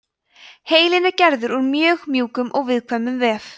heilinn er gerður úr mjög mjúkum og viðkvæmum vef